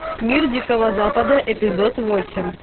мир дикого запада эпизод восемь